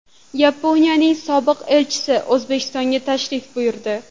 Yaponiyaning sobiq elchisi O‘zbekistonga tashrif buyurdi.